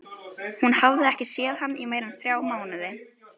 Hún hafði ekki séð hann í meira en þrjá mánuði.